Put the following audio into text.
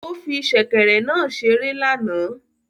Ó fí sèkèrè náà ṣeré lánàá